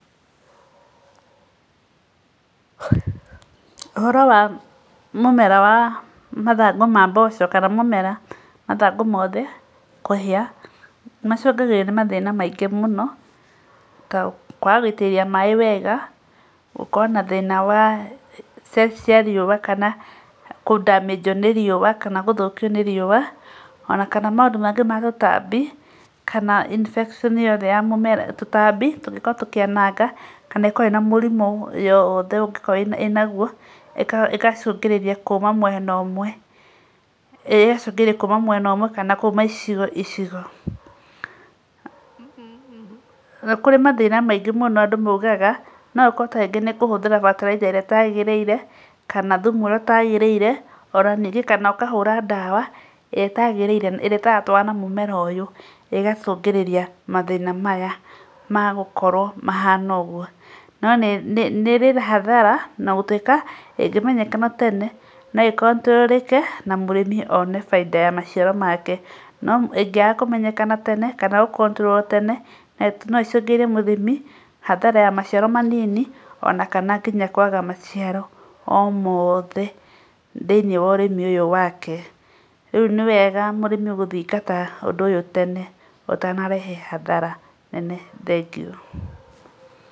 Ũhoro wa mũmera wa mathango ma mboco kana mũmera mathango mothe kũhĩa nĩ macũngagĩrio nĩ mathĩna maingĩ mũno ta kwaga gũitĩrĩria maĩ wega, gũkorwo na thĩna wa cia riũa kana kũ damaged nĩ riũa kana gũthũkio nĩ riũa ona kana maũndũ maingĩ ma ũtambi kana infection yothe ya mũmera tũtambi tũngĩkorwo tũkĩananga, ĩkorwo ĩna mũrimũ yothe ũngĩkorwo ĩnaguo ĩgacũngĩrĩria kũũma mwena ũmwe kana kũũma icigo icigo. Nĩ kũrĩ mathĩna maingĩ andũ moigaga no gukorwo ta rĩngĩ nĩ kũhũthĩra bataraitha ĩrĩa ĩtagĩrĩire kana thumu ũrĩa ũtagĩrĩire, ona ningĩ kana ũkahũra ndawa ĩrĩa ĩtagĩrĩire ĩrĩa ĩtaratũarana na mũmera ũyũ ĩgacũngĩrĩria mathĩna maya magũkorwo mahana ũguo. No nĩ ĩrĩ hathara ona gũtuĩka ĩngĩmenyeka tene no ĩĩ controlled na mũrĩmi one baita ya maciaro make. No ĩngĩaga kũmenyeka tene kana gũ controlled tene no ĩcũngĩrie mũrĩmi hathara ya maciaro manini ona kana nginya kwaga maciaro o mothe thĩinĩ wa ũrĩmi ũyũ wake. Rĩu nĩ wega mũrĩmi gũthingata ũndũ ũyũ tene ũtanarehe hathara nene. Thengiũ.